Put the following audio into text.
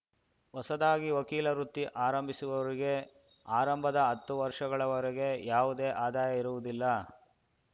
ಹೊಸದಾಗಿ ವಕೀಲ ವೃತ್ತಿ ಆರಂಭಿಸುವವರಿಗೆ ಆರಂಭದ ಹತ್ತು ವರ್ಷಗಳವರೆಗೆ ಯಾವುದೆ ಆದಾಯ ಇರುವುದಿಲ್ಲ